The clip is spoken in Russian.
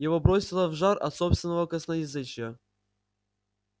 его бросило в жар от собственного косноязычия